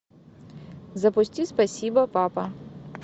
запусти спасибо папа